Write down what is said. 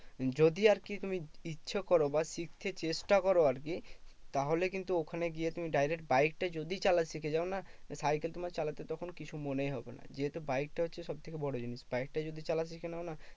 যদি আরকি তুমি ইচ্ছে করো বা শিখতে চেষ্টা করো আরকি তাহলে কিন্তু ওখানে গিয়ে তুমি direct বাইকটা যদি চালা শিখে যাও না? সাইকেল তোমার চালাতে তখন কিছু মনেই হবে না। যেহেতু বাইকটা হচ্ছে সবথেকে বড় জিনিস। বাইকটা যদি চালাতে শিখে নাও না?